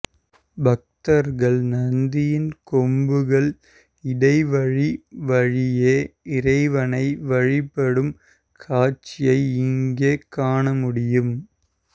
பக்தர்கள் நந்தியின் கொம்புகள் இடைவழி வழியே இறைவனை வழிபடும் காட்சியை இங்கே காண முடியும்